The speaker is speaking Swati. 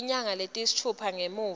tinyanga letisitfupha ngemuva